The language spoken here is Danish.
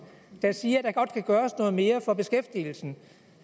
der siger at der godt kan gøres noget mere for beskæftigelsen